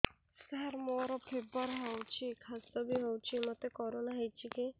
ସାର ମୋର ଫିବର ହଉଚି ଖାସ ବି ହଉଚି ମୋତେ କରୋନା ହେଇଚି କି